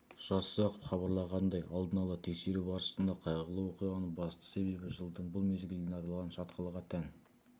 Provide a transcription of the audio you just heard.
жасұзақов хабарлағандай алдын ала тексеру барысында қайғылы оқиғаның басты себебі жылдың бұл мезгілінде аталған шатқалға тән